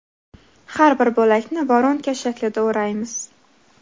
Har bir bo‘lakni voronka shaklida o‘raymiz.